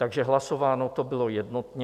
Takže hlasováno to bylo jednotně.